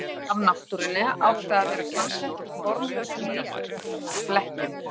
Málverk af náttúrunni átti að vera samsett úr formlausum litflekkjum.